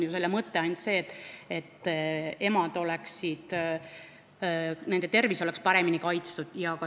Selle mõte on ainult see, et emade ja ka sündivate laste tervis oleks paremini kaitstud.